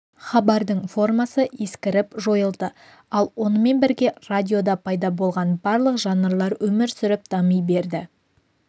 хабардың формасы ескіріп жойылды ал онымен бірге радиода пайда болған барлық жанрлар өмір сүріп дами берді